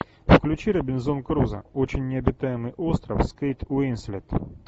включи робинзон крузо очень необитаемый остров с кейт уинслет